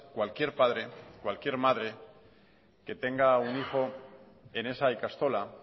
cualquier padre o cualquier madre que tenga un hijo en esa ikastola